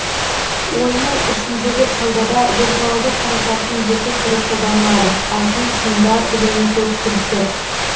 ойынның ішіндегі саудада виртуалды қаражаттың екі түрі қолданылады алтын тиындар және көк кілттер